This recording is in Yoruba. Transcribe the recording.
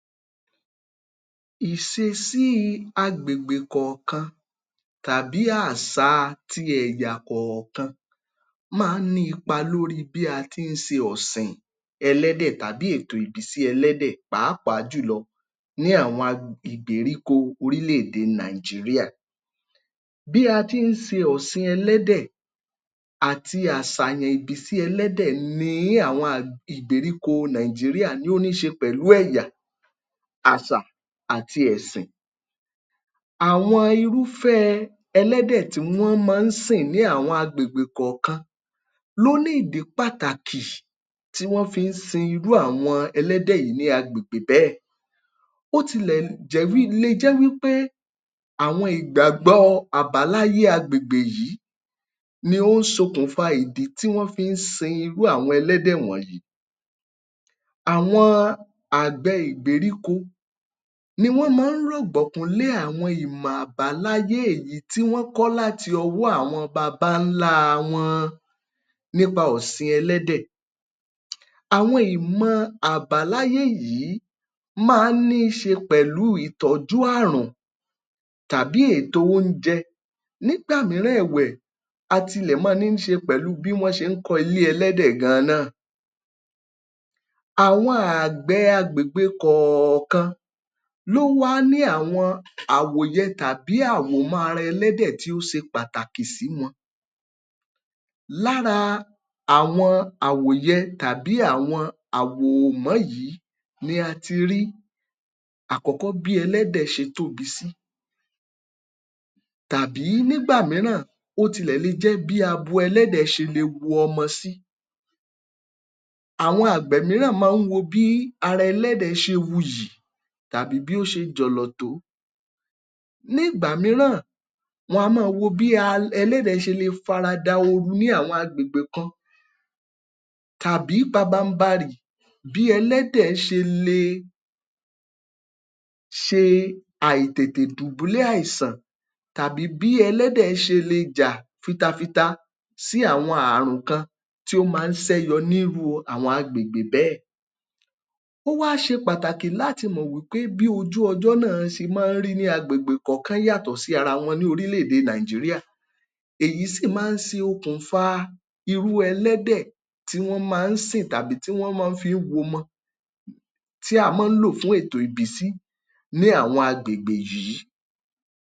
Ìṣesí àgbègbè kọ̀ọ̀kan máa ń ní ipa lórí bí a ti ń ṣe ọ̀sìn ẹlẹ́dẹ̀ tàbí ètò ìbísí ẹlẹ́dẹ̀ pàápàá jùlọ ní àwọñ ìgbèríko orílẹ̀-èdè Nàìjíríà. Bí a ti ń ṣe ọ̀sìn ẹlẹ́dẹ̀ àti àṣàyàn ìbísí ẹlẹ́dẹ̀ ní ìgbèríko Nàìjíríà ni ó níí ṣe pẹ̀lú ẹ̀yà, àṣà àti ẹ̀sìn. Àwọn irúfẹ́ ẹlẹ́dẹ̀ tí wọ́n máa ń sìñ ní àwọn agbègbè kọ̀ọ̀kan ló ní ìdí pàtàkì tí wọ́n fi ń sìn àwọñ ẹlẹ́dẹ̀ yìí ní agbègbè béẹ̀. Ó tilẹ̀ le jẹ́ wí pé àwọn ìgbàgbọ́ àbáláyé agbègbè yìí ni ó ṣokùnfa àwọñ ìdí tí wọ́n fi ń sin irú àwọn ẹlẹ́dẹ̀ wọ̀nyí. Àwọn àgbẹ̀ ìgbèríko ní wọ́n máa ń rọ̀gbọ̀kú lé àwọn ìmọ̀ àbáláyé èyí tí wọ́n kọ láti ọwọ́ àwọn baba-ńlá wọn nípa ọ̀sìn ẹlẹ́dẹ̀. Àwọn ìmọ̀ àbáláyé yìí máa ń níí ṣe pẹ̀lú ìtọ́jú àrùn tàbí ètò oúnjẹ. Nígbà mìíràn ẹ̀wẹ̀, a tilẹ̀ máa ń níí ṣe pẹ̀lú bí wọ́n ti ń kọ ilé ẹ̀lẹ́dẹ̀ gan-an ná. Àwọn àgbẹ̀ kọ̀ọ̀kan ló máa ń ní àwọn àwòyẹ tabí àwọmọ́ ara ẹlẹ́dẹ̀ tí ó ṣe pàtàkì sí wọn. Lára àwọn àwòyẹ tàbí àwọn àwòmọ́ yìí ni a ti rí àkọ́kọ́ bí ẹlẹ́dẹ̀ ṣe tóbi sí tàbí nígbà mìíràn ó tilẹ̀ le jẹ́ bí abo ẹ̀lẹ́dẹ̀ ṣe le wo ọmọ sí. Àwọn àgbẹ̀ mìíràn máa ń wo bí ara abo ẹ̀lẹ́dẹ̀ ṣe wuyì; bí ó ṣe jọ̀lọ̀ tó. Nígbà mìíràn, wọn a máa wo bí ẹ̀lẹ̀dẹ̀ ṣe le farada ooru ní àwọn agbègbè kan tàbí pabambarì bí ẹlẹ́dẹ̀ ṣe le ṣe àìtètè dùbúlẹ̀ àìṣàn tàbí bí ẹlẹ́dẹ̀ ṣe le jà fitafita sí àwọn àrùn kan tí ó máa ń ṣe yọ ní irú àwọn agbègbè béẹ̀. Ó wá ṣe pàtàkì láti mọ̀ wí pé bí ojú-ọjọ́ ṣe máa ń rí ní agbègbè kọ̀ọ̀kan yàtọ̀ sí ara wọn ní orílẹ̀-èdè Nàìjíríà. Èyí sì máa ń ṣokùnfa irú ẹlẹ́dẹ̀ tí wọ́n máa ń sìn tàbí tí wọ́n máa ń fí womọ, tí a máa ń lò fún ètò ìbísí ní àwọn agbègbè yìí.